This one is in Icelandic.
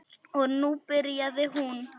Og nú byrjaði hún.